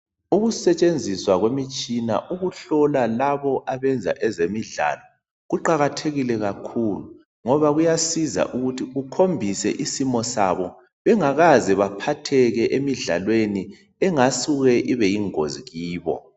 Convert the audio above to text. Ukusetshenziswa kwemitshina ukuhlola labo abenza ngezemidlalo, kuqakathekile kakhulu. Ngoba kuyasiza ukuthi kukhombise isimo sabo, bengakaze baphatheke emidlalweni engasuke ibe yingozi kubo.